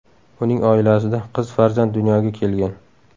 Uning oilasida qiz farzand dunyoga kelgan .